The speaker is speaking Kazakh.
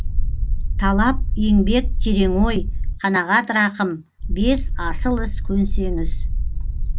талап еңбек терең ой қанағат рақым бес асыл іс көнсеңіз